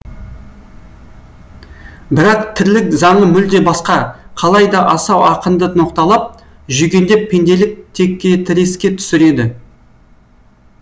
бірақ тірлік заңы мүлде басқа қалай да асау ақынды ноқталап жүгендеп пенделік текетіреске түсіреді